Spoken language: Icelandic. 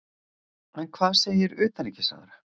En hvað segir utanríkisráðherra?